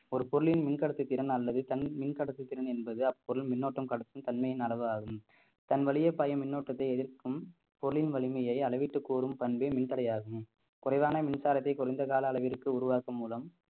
ஒரு பொருளின் மின்கடத்து திறன் அல்லது தன் மின்கடத்து திறன் என்பது அப்பொருள் மின்னோட்டம் கடத்தும் தன்மையின் அளவாகும் தன் வழியே பாயும் மின்னோட்டத்தை எதிர்க்கும் பொருளின் வலிமையை அளவீட்டு கூறும் பண்பே மின்தடையாகும் குறைவான மின்சாரத்தை குறைந்த கால அளவிற்கு உருவாக்கும் மூலம்